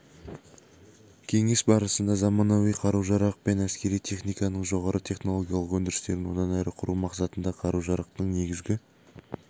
кеңес барысында заманауи қару-жарақ пен әскери техниканың жоғары технологиялық өндірістерін одан әрі құру мақсатында қару-жарақтың негізгі